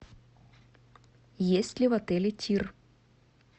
есть ли в отеле тир